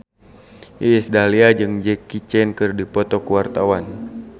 Iis Dahlia jeung Jackie Chan keur dipoto ku wartawan